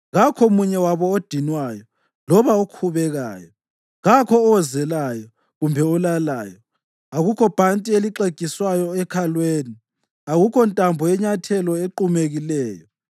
Kakho omunye wabo odinwayo loba okhubekayo, kakho owozelayo kumbe olalayo, akukho bhanti elixegiswayo ekhalweni, akukho ntambo yenyathelo equmekileyo.